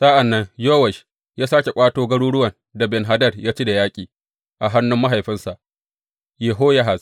Sa’an nan Yowash ya sāke ƙwato garuruwan da Ben Hadad ya ci da yaƙi a hannun mahaifinsa Yehoyahaz.